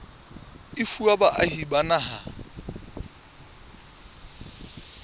e fuwa baahi ba naha